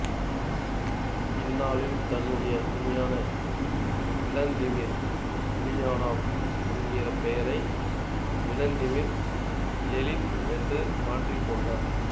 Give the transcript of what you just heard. பின்னாளில் தன்னுடைய உண்மையான விளாதிமிர் உலியனொவ் என்கிற பெயரை விளாதிமிர் லெனின் என்று மாற்றிக்கொண்டார்